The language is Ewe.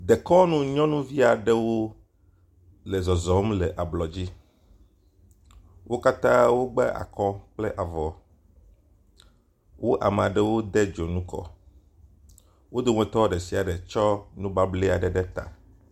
Dekɔnu nyɔnuvi aɖewo le zɔzɔm le ablɔdzi. Wo katã wogba akɔ kple avɔ, wo amea ɖewo de dzonu kɔ, wo dometɔ ɖe sia ɖe tsɔ nubable aɖe ɖe ta.